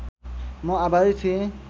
म आभारी थिएँ